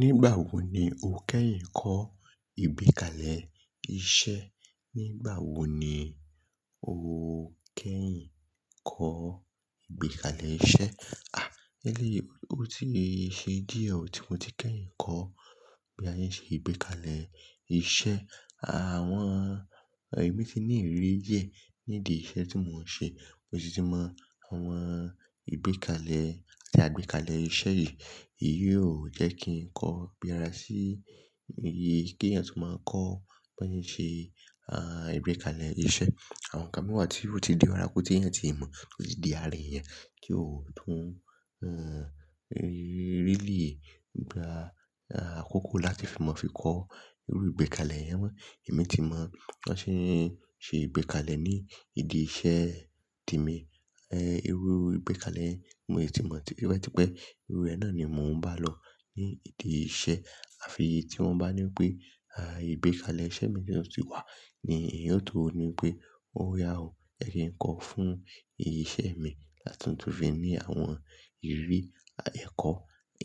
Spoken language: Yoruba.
Nígbà wo ni o kẹ́yìn kọ́ ìgbékalẹ̀ iṣẹ́? Nígbà wo ni o kẹ́yìn kọ́ ìgbékalẹ̀ iṣẹ́? À, eléyìí, ó ti ṣe díẹ̀ tí mo ti kẹ́yìn kọ́ bí a ṣe ìgbékalẹ̀ iṣẹ́. Àwọn emí ti ní ìrírí díẹ̀ nidi iṣẹ́ tí mò ń ṣe, mo sì ti mọ àwọn ìgbékalẹ̀ àti àgbékalẹ̀ iṣẹ́ yìí. Ìyẹn ò jẹ́ kí n kọ́ ibí ara sí igi ki èèyàn tó máa ń kọ́ bí a ṣe, ah, ìgbékalẹ̀ iṣẹ́. Àwọn ǹkan míi wà tí ó ti di ara kò tí èèyàn tíì mọ̀, ó ti di ara èèyàn, kí ó tún, ẹ́ń, really gbà, ah, àkókò láti fi mọ̀ fi kọ́ irú ìgbékalẹ̀ yẹn mọ. Ẹ̀mí ti mọ̀ bí wọ́n ṣe ń ṣe ìgbékalẹ̀ nídi iṣẹ́ ti mi. Irú ìgbékalẹ̀ yẹn, mo tí mọ̀, tipẹ tipẹ irú ẹ náà ni mò ń bá lọ nídi iṣẹ́. Àfi ìyí tí wọ́n bá ní pé, ah, ìgbékalẹ̀ iṣẹ́ mi na tun ti wà ni èèyàn o tó ní pé oya o, ẹ jẹ n kọ́ fún iṣẹ́ mi láti tún fi ní àwọn ìrírí a ẹ́kọ́,